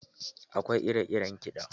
Akwai ire iren kiɗa.